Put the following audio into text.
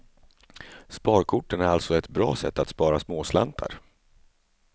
Sparkorten är alltså ett bra sätt att spara småslantar.